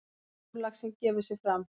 Stórlaxinn gefur sig fram.